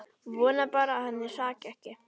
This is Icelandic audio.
Vona bara að henni hraki ekki.